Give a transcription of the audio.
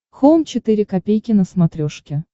хоум четыре ка на смотрешке